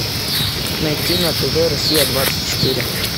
найти на тв россия двадцать четыре